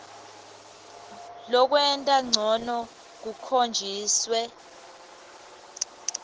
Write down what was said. lokwenta ncono kukhonjiswe